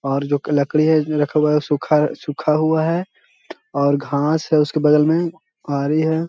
और जो क-लकड़ी है रखा हुआ है सूखा-सूखा हुआ है और घास है उसके बगल में आरी है।